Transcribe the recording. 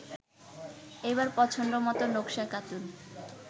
এবার পছন্দমতো নকশা কাটুন